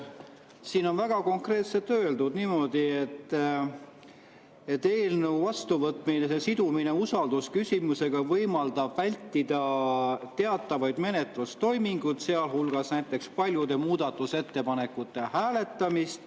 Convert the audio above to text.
Siin on väga konkreetselt öeldud niimoodi, et eelnõu vastuvõtmise sidumine usaldusküsimusega võimaldab vältida teatavaid menetlustoiminguid, sealhulgas paljude muudatusettepanekute hääletamist.